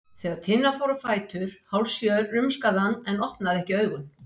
Þegar Tinna fór á fætur hálfsjö rumskaði hann en opnaði ekki augun.